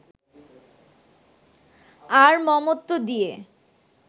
আর মমত্ব দিয়ে